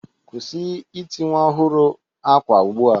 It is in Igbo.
Kwụsị ịti nwa ọhụrụ akwa ugbu a.